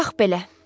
Bax belə.